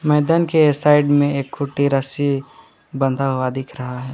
मैदान के साइड में एक खूंटी रस्सी बंधा हुआ दिख रहा है।